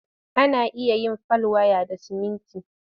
Ana iya yin fal waya da siminti.